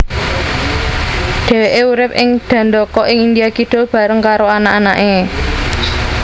Dheweke urip ing Dandaka ing India Kidul bareng karo anak anake